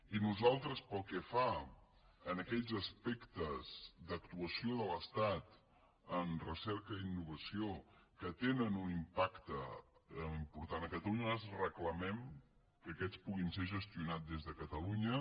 i nosaltres pel que fa a aquells aspectes d’actuació de l’estat en recerca i innovació que tenen un impacte important a catalunya reclamem que aquests puguin ser gestionats des de catalunya